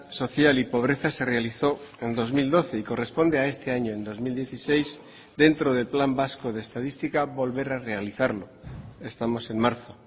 social y pobreza se realizó en dos mil doce y corresponde a este año en dos mil dieciséis dentro del plan vasco de estadística volver a realizarlo estamos en marzo